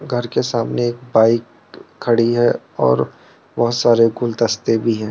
घर के सामने एक बाइक खड़ी है और बहुत सारे गुलदस्ते भी हैं।